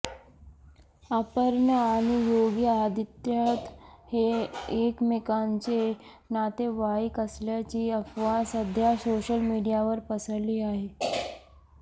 अपर्णा आणि योगी आदित्याथ हे एकमेकांचे नातेवाईक असल्याची अफवा सध्या सोशल मीडियावर पसरली आहे